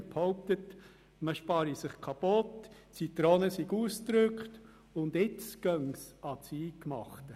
Man behauptet, man spare sich kaputt, die Zitrone sei ausgepresst und es gehe jetzt ans Eingemachte.